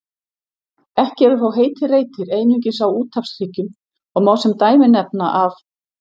Ekki eru þó heitir reitir einungis á úthafshryggjum og má sem dæmi nefna að